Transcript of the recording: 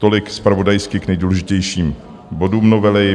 Tolik zpravodajsky k nejdůležitějším bodům novely.